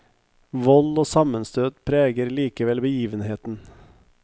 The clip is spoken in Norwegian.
Vold og sammenstøt preger likevel begivenheten.